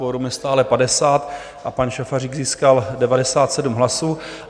Kvorum je stále 50 a pan Šafařík získal 97 hlasů.